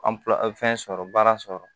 fɛn sɔrɔ baara sɔrɔ